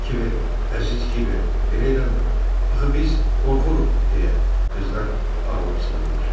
Kiber, əziz kiber, belə eləmə, axı biz qorxuruq, deyə qızlar ağlaşıdılar.